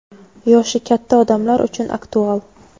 yoshi katta odamlar uchun aktual.